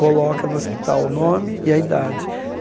coloca no hospital o nome e a idade.